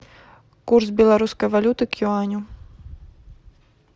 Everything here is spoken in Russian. курс белорусской валюты к юаню